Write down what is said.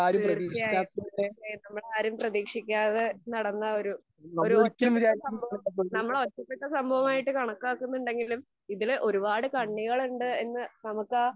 തീർച്ചയായും തീർച്ചയായും നമ്മളാരും പ്രതീക്ഷിക്കാതെ നടന്ന ഒരു ഒരു ഒറ്റപ്പെട്ട സംഭവം. നമ്മൾ ഒറ്റപ്പെട്ട സംഭവമായിട്ട് കണക്കാകുന്നുണ്ടെങ്കിലും ഇതിൽ ഒരുപാട് കണ്ണികളുണ്ട് എന്ന് നമുക്കാ